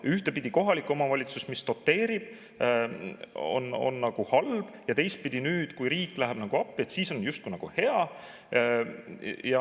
Ühtepidi on kohalik omavalitsus, mis doteerib, nagu halb ja teistpidi nüüd, kui riik läheb appi, siis on justkui nagu hea.